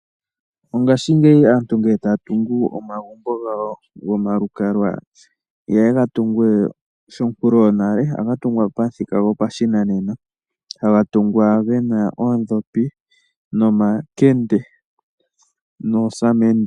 Mongashingeyi aantu ngele ta ya tungu omagumbo gawo gomalukalwa, iha ye ga tungu shonkulu yonale ohaga tungwa pamuthika gopashinanena haga tungwa gena oodhopi, nomakende noosamende.